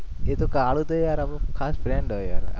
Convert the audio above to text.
એ તો કાળો તો યાર આપણો ખાસ friend હોય યાર